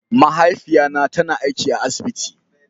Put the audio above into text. Mahaifiya na ta na aiki a asibiti.